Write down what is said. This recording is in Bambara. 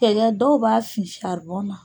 dɔw b'a fin saribɔnna.